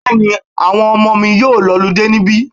Bẹ́ẹ̀ni, àwọn ọmọmọ mi yóò lọludé níbí.